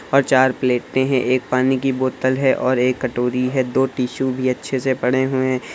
और चार प्लेटें हैं एक पानी की बोतल है और एक कटोरी है दो टिश्यू भी अच्छे से पड़े हुए हैं।